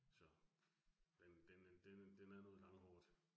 Så, men den den den er noget langhåret